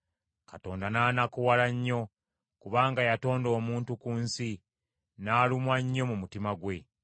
Mukama n’anakuwala nnyo kubanga yatonda omuntu ku nsi, n’alumwa nnyo mu mutima gwe.